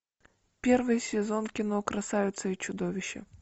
первый сезон кино красавица и чудовище